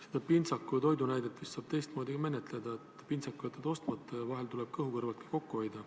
Seda pintsaku ja toidu näidet saab vist ka teistmoodi menetleda, et pintsaku jätad ostmata ja vahel tuleb ka kõhu kõrvalt kokku hoida.